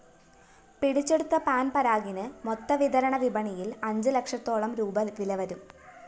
പിടിച്ചെടുത്ത പാന്‍പരാഗിന് മൊത്തവിതരണ വിപണിയില്‍ അഞ്ച് ലക്ഷത്തോളം രൂപീ വിലവരും